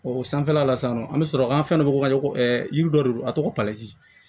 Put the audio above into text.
O sanfɛla la sisan nɔ an bɛ sɔrɔ an ka fɛn dɔ ko ka ɲɔgɔn yiri dɔ de don a tɔgɔ